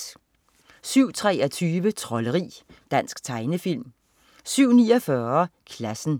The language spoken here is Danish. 07.23 Trolderi. Dansk tegnefilm 07.49 Klassen